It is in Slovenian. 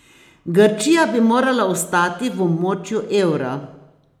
Grčija bi morala ostati v območju evra.